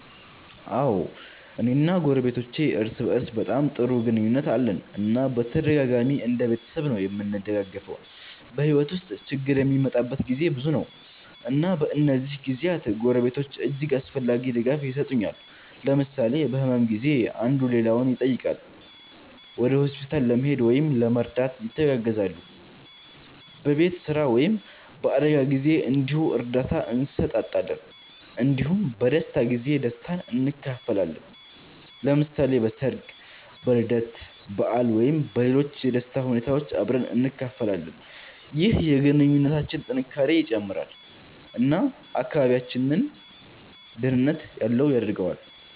አዎ፣ እኔ እና ጎረቤቶቼ እርስ በእርስ በጣም ጥሩ ግንኙነት አለን እና በተደጋጋሚ እንደ ቤተሰብ ነዉ እምንደጋገፈዉ። በሕይወት ውስጥ ችግር የሚመጣበት ጊዜ ብዙ ነው፣ እና በእነዚህ ጊዜያት ጎረቤቶች እጅግ አስፈላጊ ድጋፍ የሰጡኛል። ለምሳሌ በህመም ጊዜ አንዱ ሌላውን ይጠይቃል፣ ወደ ሆስፒታል ለመሄድ ወይም ለመርዳት ይተጋገዛሉ። በቤት ስራ ወይም በአደጋ ጊዜ እንዲሁ እርዳታ እንሰጣጣለን እንዲሁም በደስታ ጊዜ ደስታን እንካፈላለን። ለምሳሌ በሠርግ፣ በልደት በዓል ወይም በሌሎች የደስታ ሁኔታዎች አብረን እንካፈላለን። ይህ የግንኙነታችንን ጥንካሬ ይጨምራል እና አካባቢያችንን ደህንነት ያለው ያደርገዋል።